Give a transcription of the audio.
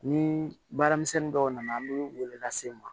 Ni baaramisɛn dɔw nana an mi lase n ma